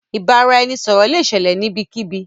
Ìbàràẹ̀nisọ̀rọ̀ lẹ ṣẹlẹ̀ níbẹ̀kíbí.